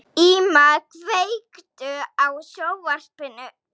Íma, kveiktu á sjónvarpinu.